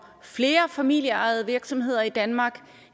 flere familieejede virksomheder i danmark